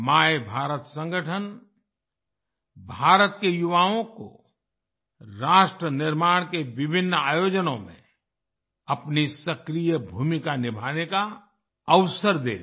मायभारत संगठन भारत के युवाओं को राष्ट्रनिर्माण के विभिन्न आयोजनों में अपनी सक्रिय भूमिका निभाने का अवसर देगा